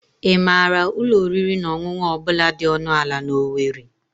Ị maara ụlọ oriri na ọṅụṅụ ọ bụla dị ọnụ ala na owerri?